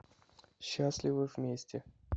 счастливы вместе